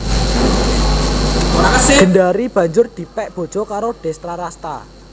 Gendari banjur dipèk bojo karo Destrarasta